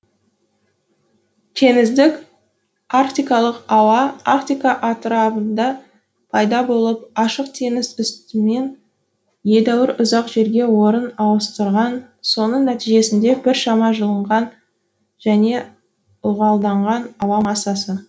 теңіздік арктикалық ауа арктика атырабында пайда болып ашық теңіз үстімен едәуір ұзақ жерге орын ауыстырған соның нәтижесінде біршама жылынған және ылғалданған ауа массасы